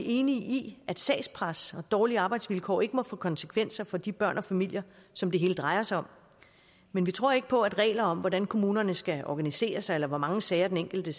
enige i at sagspres og dårlige arbejdsvilkår ikke må få konsekvenser for de børn og familier som det hele drejer sig om men vi tror ikke på at regler om hvordan kommunerne skal organiseres eller hvor mange sager den enkelte